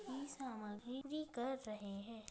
ये ये कर रहे हैं।